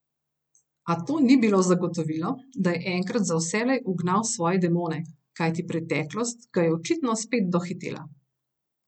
A to ni bilo zagotovilo, da je enkrat za vselej ugnal svoje demone, kajti preteklost ga je očitno spet dohitela.